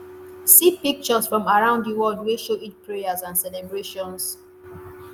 see pictures from around di world wey show eid prayers and celebrations.